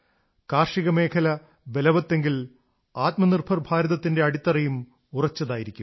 കാർഷികമേഖല ബലവത്തെങ്കിൽ ആത്മനിർഭർ ഭാരതത്തിന്റെ അടിത്തറയും ഉറച്ചതായിരിക്കും